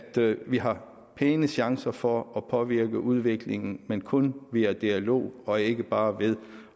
vi har pæne chancer for at påvirke udviklingen men kun via dialog og ikke bare ved